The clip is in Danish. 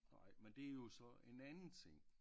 Nej men det er jo så en anden ting